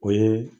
O ye